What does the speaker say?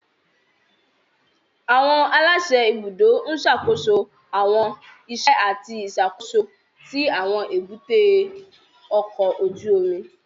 Àwọn aláṣẹ ibùdó ń ṣàkóso àwọn iṣẹ́ àti ìṣàkóso tí àwọn èbúté ọkọ̀ ojú omi